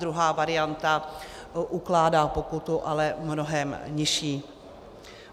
Druhá varianta ukládá pokutu, ale mnohem nižší.